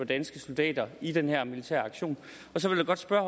danske soldater i den her militæraktion og så vil jeg godt spørge